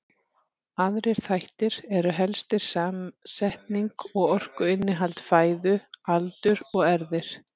Aðrir þættir eru helstir samsetning og orkuinnihald fæðu, aldur og erfðir.